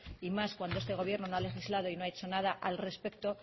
y más cuando este gobierno no ha legislado y no ha hecho nada al respecto